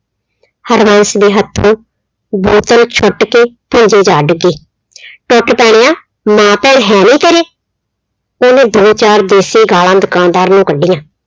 ਹਰਬੰਸ ਦੇ ਹੱਥੋਂ ਬੋਤਲ ਛੁੱਟ ਕੇ ਭੁੰਜੇ ਜਾ ਡਿੱਗੀ। ਟੁੱਟ ਪੈਣਿਆ ਮਾਂ ਭੈਣ ਹੈ ਨੀ ਘਰੇ, ਉਹਨੇ ਦੋ ਚਾਰ ਦੇਸੀ ਗਾਲਾਂ ਦੁਕਾਨਦਾਰ ਨੂੰ ਕੱਢੀਆਂ।